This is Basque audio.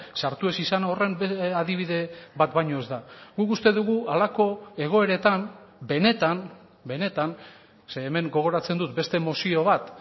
sartu ez izan horren adibide bat baino ez da guk uste dugu halako egoeretan benetan benetan zeren hemen gogoratzen dut beste mozio bat